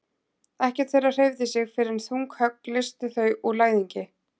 Ekkert þeirra hreyfði sig fyrr en þung högg leystu þau úr læðingi.